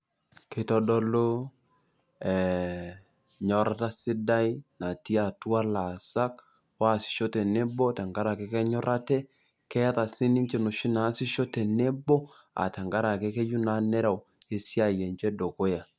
Keitodolu enyorrata sidai natii atua laasak oasisho tenebo tenkarake kenyorr ate. Keeta sii ninche enoshi naasisho tenebo tenkarake keyieu naa nereu esiai enche dukuya.